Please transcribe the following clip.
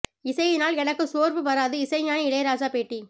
இசையினால் எனக்கு சோர்வு வராது இசைஞானி இளையராஜா பேட்டி